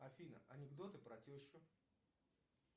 афина анекдоты про тещу